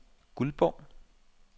Guldborg